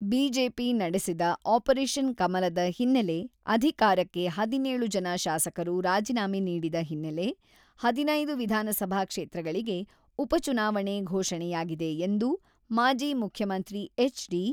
BJP ನಡೆಸಿದ operation ಕಮಲದ ಹಿನ್ನೆಲೆ, ಅಧಿಕಾರಕ್ಕಾಗಿ ಹದಿನೇಳು ಜನ ಶಾಸಕರು ರಾಜಿನಾಮೆ ನೀಡಿದ ಹಿನ್ನೆಲೆ, ಹದಿನೈದು ವಿಧಾನಸಭಾ ಕ್ಷೇತ್ರಗಳಿಗೆ ಉಪಚುನಾವಣೆ ಘೋಷಣೆಯಾಗಿದೆ ಎಂದು ಮಾಜಿ ಮುಖ್ಯಮಂತ್ರಿ ಎಚ್.ಡಿ.